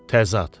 Təzad.